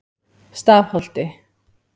Stafholti